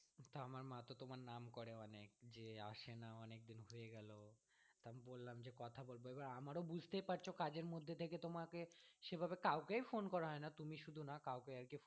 যে আসেনা অনেকদিন হয়ে গেলো, তা আমি বললাম যে কথা বলবো এবার আমারও বুঝতেই পারছো কাজের মধ্যে থেকে তোমাকে সেভাবে কাউকেই phone করা হয় না তুমি শুধু না কাউকেই আর কি।